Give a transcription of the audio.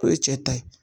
O ye cɛ ta ye